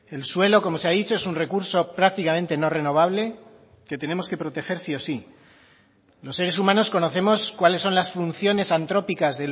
el suelo como se ha dicho es un recurso prácticamente no renovable que tenemos que proteger sí o sí los seres humanos conocemos cuáles son las funciones antrópicas